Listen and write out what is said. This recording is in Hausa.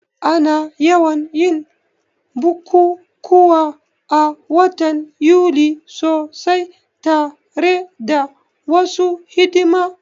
Ana yawan yin bukukuwa a watan Yuli sosai tare da wasu hidima